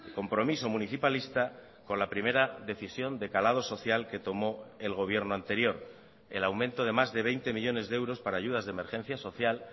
compromiso municipalista con la primera decisión de calado social que tomó el gobierno anterior el aumento de más de veinte millónes de euros para ayudas de emergencia social